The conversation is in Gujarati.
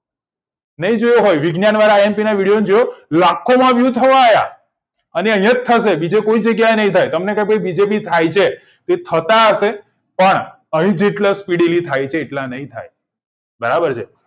નહિ જુઓ હોય વિજ્ઞાન વાળા imp વિડીઓ જુઓ લાખો માં વહ્યું થવા આવ્યા અને અહિયાં થાય બીજે ક્યાય ની થાય થતા હશે પણ કેટલા speed થી કેટલા નહિ થાય બરાબર છે